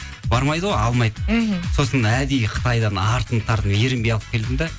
бармайды ғой алмайды мхм сосын әдейі қытайдан артынып тартынып ерінбей алып келдім де